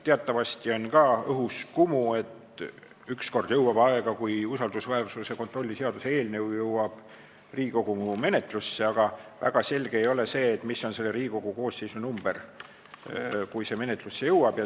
Teatavasti on õhus kumu, et ükskord jõuab aega, kui usaldusväärsuse kontrolli seaduse eelnõu jõuab Riigikogu menetlusse, aga väga selge ei ole, mis numbriga Riigikogu koosseis siis töötab.